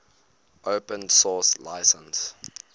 open source license